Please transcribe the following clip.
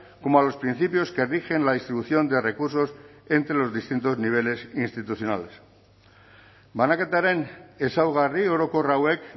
como a los principios que rigen la distribución de recursos entre los distintos niveles institucionales banaketaren ezaugarri orokor hauek